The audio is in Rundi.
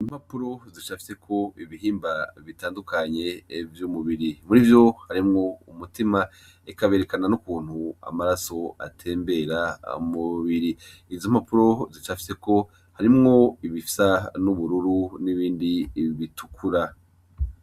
Ibipapuro bicafyeko ibihimba bitandukanye vyumubiri murivyo harimwo umutima eka berekana nukuntu amaraso atembera mumubiri izompapuro zicafyeko harimwo ibisa nubururu nibindi bitukura